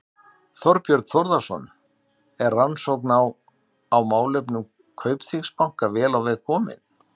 Þorbjörn Þórðarson: Er rannsókn á, á málefnum Kaupþings banka vel á veg komin?